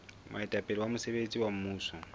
moetapele wa mosebetsi wa mmuso